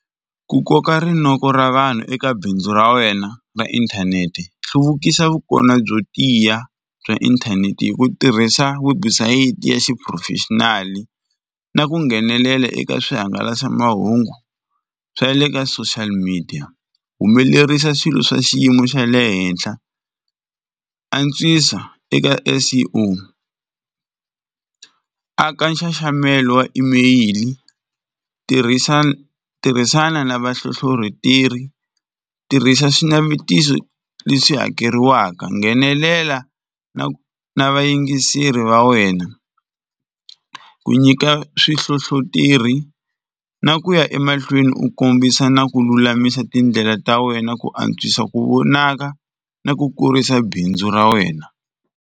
Ku koka rinoko ra vanhu eka bindzu ra wena ra inthanete, hluvukisa vukona byo tiya bya inthanete hi ku tirhisa webusayiti ya xiphurofexinali na ku nghenelela eka swihangalasamahungu swa le ka social media. Humelerisa swilo swa xiyimo xa le henhla, antswisa eka S_E_O, aka nxaxamelo wa emeyili, tirhisana tirhisana na vahlohloteri, tirhisa swinavetiso leswi hakeriwaka, nghenelela na vayingiseri va wena. Ku nyika swihlohloteri na ku ya emahlweni u kombisa na ku lulamisa tindlela ta wena ku antswisa ku vonaka na ku kurisa bindzu ra wena.